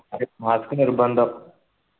mask നിർബന്ധം